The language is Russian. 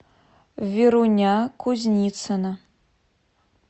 веруня кузницына